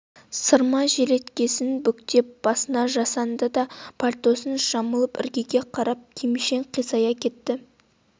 сырма желеткесін бүктеп басына жастанды да пальтосын жамылып іргеге қарап кимшең қисая кетті